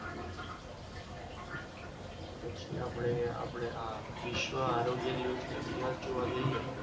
પછી આપણે આ વિશ્વ આરોગ્ય દિવસનો ઇતિહાસ જોવા જઈએ